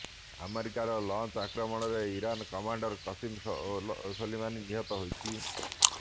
ଆମେରିକାର ଲଞ୍ଚ ଆକ୍ରମଣରେ Iran commander Qasem Soleimani ନିହତ ହୋଇଛି